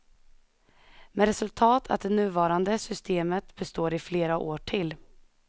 Med resultat att det nuvarande systemet består i flera år till.